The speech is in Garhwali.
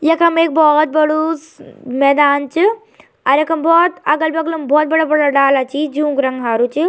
यखम एक बहौत बडू मैदान च और यखम बहौत अगल-बगल म बहौत बड़ा-बड़ा डाला छी जुन्क रंग हारू च।